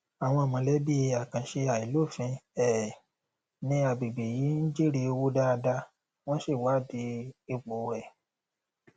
àwọn mọlẹbí àkànṣe àìlófin um ní agbègbè yìí ń jèrè owó dáadáa wọn sì wá di ipò rẹ